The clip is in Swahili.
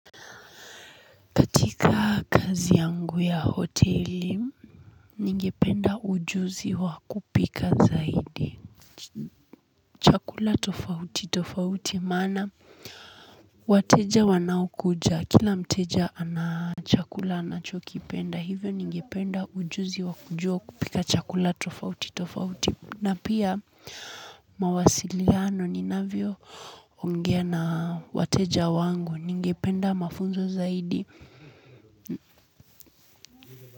Katika kazi yangu ya hoteli ningependa ujuzi wakupika zaidi chakula tofauti tofauti maana wateja wanaokuja kila mteja ana chakula anachokipenda hivyo ningependa ujuzi wakujua kupika chakula tofauti tofauti na pia mawasiliano ninavyo ongea na wateja wangu ningependa mafunzo zaidi.